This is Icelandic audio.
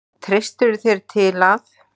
Treystirðu þér til að?